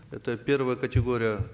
это первая категория